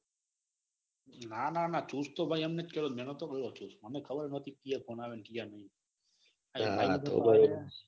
ના ના ના ખુશ તો એમ કઈ નાથ કર્યો. મેં નાથ કર્યો ઠૂસ મને ખબર નાતી કે ચિયા phone આવે ને ચિયા નઈ.